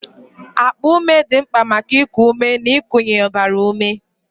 Akpa ume dị mkpa maka iku ume na ikunye ọbara ume